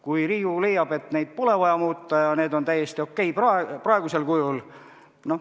Kui Riigikogu leiab, et neid pole vaja muuta ja need on täiesti okei praegusel kujul ...